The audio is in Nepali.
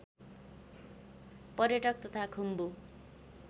पर्यटक तथा खुम्वु